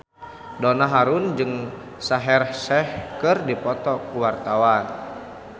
Donna Harun jeung Shaheer Sheikh keur dipoto ku wartawan